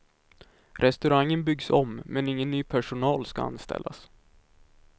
Restaurangen byggs om, men ingen ny personal ska anställas.